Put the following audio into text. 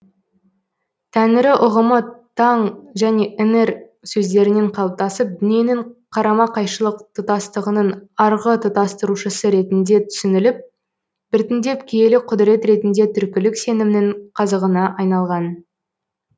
тәңірі ұғымы таң және іңір сөздерінен қалыптасып дүниенің қарма қайшылық тұтастығының арғы тұтастырушысы ретінде түсініліп біртіндеп киелі құдірет ретінде түркілік сенімнің қазығына айналған